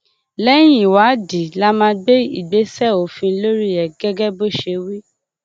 lẹyìn ìwádìí la máa gbé ìgbésẹ òfin lórí ẹ gẹgẹ bó ṣe wí